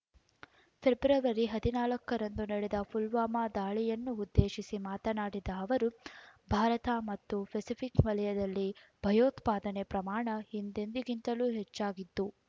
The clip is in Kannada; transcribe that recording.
ಫೆಬ್ರವರಿ ಹದಿನಾಲ್ಕರಂದು ನಡೆದ ಪುಲ್ವಾಮಾ ದಾಳಿಯನ್ನುದ್ದೇಶಿಸಿ ಮಾತನಾಡಿದ ಅವರು ಭಾರತ ಮತ್ತು ಪೆಸಿಫಿಕ್ ವಲಯದಲ್ಲಿ ಭಯೋತ್ಪಾದನೆ ಪ್ರಮಾಣ ಹಿಂದೆಂದಿಗಿಂತಲೂ ಹೆಚ್ಚಾಗಿದ್ದು